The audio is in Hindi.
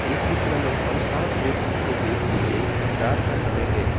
इस चित्र में हम साफ देख सकते हैं कि ये रात का समय है।